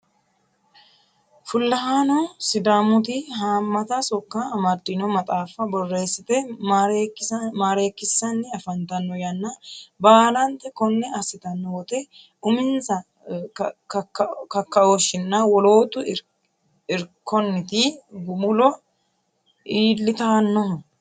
Fullahano sidaamuti hamata sokko amadino maxaafa borreessite marreekisanni afantano yanna baalanta kone assittano woyte uminsa kakaoshininna wolootu irkonniti gumulo iillittanohu.